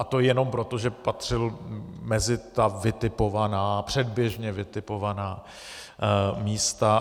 A to jenom proto, že patřil mezi ta vytipovaná, předběžně vytipovaná místa.